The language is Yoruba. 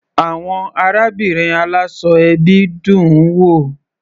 Àwọn arábìnrin aláṣọ ẹbí dùn-ún wò.